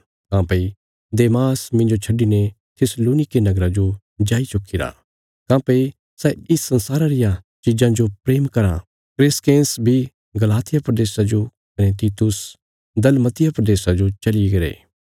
काँह्भई देमास मिन्जो छड्डिने थिस्सलुनीके नगरा जो जाई चुक्कीरा काँह्भई सै इस संसारा रिया चीजां जो प्रेम कराँ क्रेसकेंस बी गलातिया प्रदेशा जो कने तीतुस दलमतिया प्रदेशा जो चलीगरे